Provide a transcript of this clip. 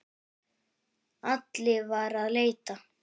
Alli var að leita.